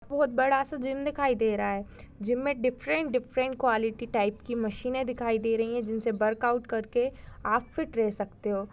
बहुत बडा सा जिम दिखाई दे रहा है जिम मे डिफरेंट डिफरेंट कॉलिटी टाइप की मशीने दिखाई दे रही है जिनसे बर्कआउट कर के आप फीट रेह सकते हो।